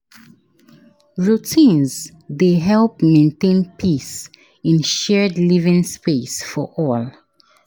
Routines dey help maintain peace in shared living space for all.